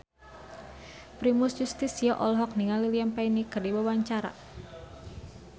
Primus Yustisio olohok ningali Liam Payne keur diwawancara